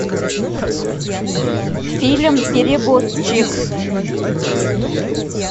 фильм перевозчик